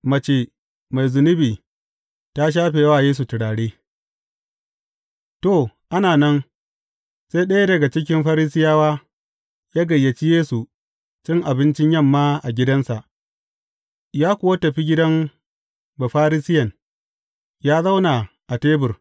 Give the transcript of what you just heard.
Mace mai zunubi ta shafe wa Yesu turare To, ana nan, sai ɗaya daga cikin Farisiyawa ya gayyaci Yesu cin abincin yamma a gidansa, ya kuwa tafi gidan Bafarisiyen, ya zauna a tebur.